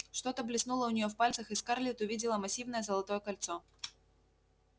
что-то блеснуло у нее в пальцах и скарлетт увидела массивное золотое кольцо